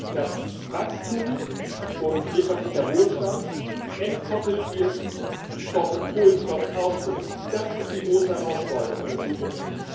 Dass Wachstum und wirtschaftlicher Wohlstand entkoppelt wird vom Kohlenstoffausstoß, das ist die große Herausforderung in der Zukunft.